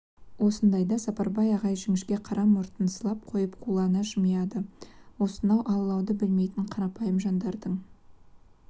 ондайда сапарбай ағай жіңішке қара мұртын сылап қойып қулана жымияды осынау алалауды білмейтін қарапайым жандардың